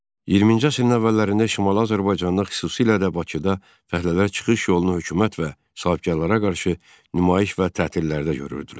20-ci əsrin əvvəllərində Şimali Azərbaycanda, xüsusilə də Bakıda fəhlələr çıxış yolunu hökumət və sahibkarlara qarşı nümayiş və tətillərdə görürdülər.